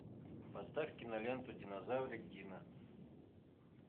поставь киноленту динозаврик дино